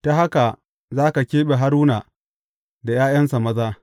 Ta haka za ka keɓe Haruna da ’ya’yansa maza.